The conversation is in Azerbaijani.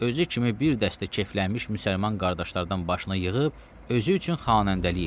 Özü kimi bir dəstə keyflənmiş müsəlman qardaşlardan başına yığıb özü üçün xanəndəlik eləyir.